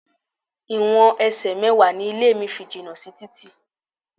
Ìwọ̀n ẹsẹ̀ mẹ́wàá ni ilé mi fi jìnà sí títì.